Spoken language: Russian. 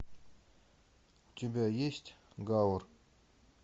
у тебя есть гавр